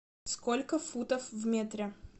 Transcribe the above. сколько футов в метре